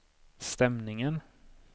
stämningen